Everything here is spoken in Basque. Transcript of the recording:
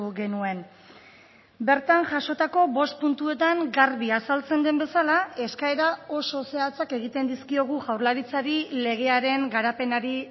genuen bertan jasotako bost puntuetan garbi azaltzen den bezala eskaera oso zehatzak egiten dizkiogu jaurlaritzari legearen garapenari